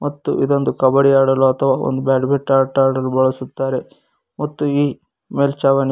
ಮತ್ತು ಇದೊಂದು ಕಬಡ್ಡಿ ಆಡಲು ಅಥವಾ ಒಂದು ಬ್ಯಾಡ್ಮಿಂಟನ್ ಆಟ ಆಡಲು ಬಳಸುತ್ತಾರೆ ಮತ್ತು ಈ ಮೇಲ್ಚಾವಣಿ--